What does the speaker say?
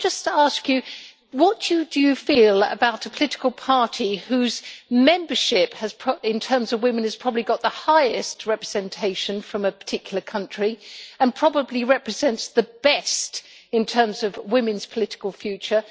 Can I just ask you what you feel about a political party whose membership in terms of women has probably got the highest representation from a particular country and probably represents the best in terms of women's political future?